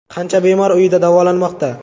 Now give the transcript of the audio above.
Qancha bemor uyida davolanmoqda?